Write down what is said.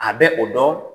A bɛ o dɔn